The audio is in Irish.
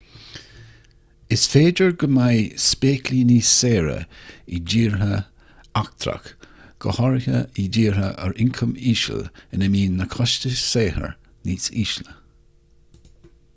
is féidir go mbeidh spéaclaí níos saoire i dtír eachtrach go háirithe i dtíortha ar ioncam íseal ina mbíonn na costais saothair níos ísle